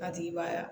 A tigi b'a